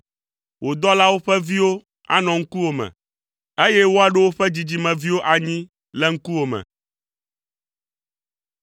Wò dɔlawo ƒe viwo anɔ ŋkuwò me, eye woaɖo woƒe dzidzimeviwo anyi le ŋkuwò me.”